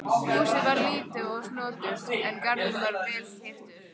Húsið var lítið og snoturt og garðurinn vel hirtur.